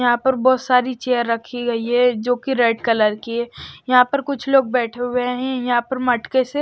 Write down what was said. यहां पर बहुत सारी चेयर रखी गई है जो कि रेड कलर की है यहां पर कुछ लोग बैठे हुए हैं यहां पर मटके से--